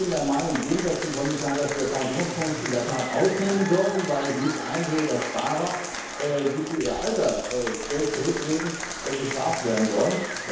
Ich bin der Meinung, im Gegensatz zum Kommissar, dass wir Pensionsfonds in der Tat ausnehmen sollten, weil ich nicht einsehe, dass Sparer, die für ihr Alter Geld zurücklegen, bestraft werden sollen.